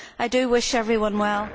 I do wish everyone well.